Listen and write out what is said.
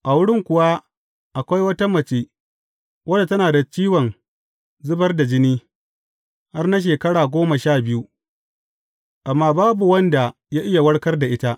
A wurin kuwa, akwai wata mace wadda tana da ciwon zubar da jini, har na shekara goma sha biyu, amma babu wanda ya iya warkar da ita.